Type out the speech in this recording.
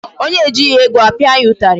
Onye ejighị ego, a pịa ya ụtarị.